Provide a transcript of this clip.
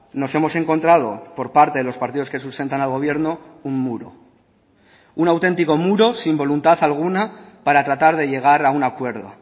nos hemos encontrado por parte de los partidos que sustentan al gobierno un muro un auténtico muro sin voluntad alguna para tratar de llegar a un acuerdo